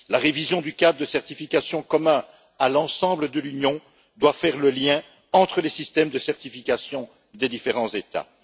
La révision du cadre de certification commun à l'ensemble de l'Union doit faire le lien entre les systèmes de certification des différents États.